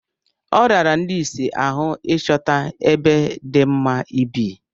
Ọ rara ndị isi ahụ ịchọta ebe dị mma ibi.